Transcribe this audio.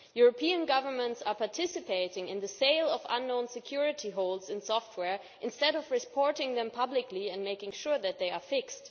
European governments are participating in the sale of unknown security holes in software instead of reporting them publicly and making sure that they are fixed.